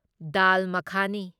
ꯗꯥꯜ ꯃꯈꯥꯅꯤ